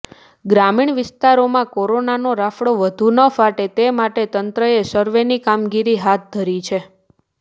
ગ્રામીણ વિસ્તારોમાં કોરોનાનો રાફડો વધુ ન ફાટે તે માટે તંત્રએ સર્વેની કામગીરી હાથ ધરી છે